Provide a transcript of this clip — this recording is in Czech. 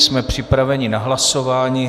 Jsme připraveni na hlasování.